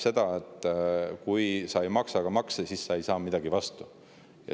Kui sa ei maksa makse, siis sa ei saa midagi ka vastu.